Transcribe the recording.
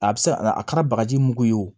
A bɛ se ka a kɛra bagaji mugu ye o